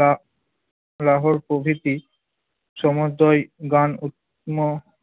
লা লাহোর প্রভৃতি সমদয় গান উপম